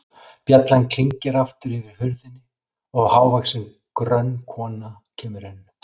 Bjallan klingir aftur yfir hurðinni og hávaxin, grönn kona kemur inn.